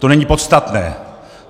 To není podstatné!